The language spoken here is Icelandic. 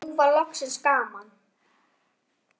Nú var loksins gaman.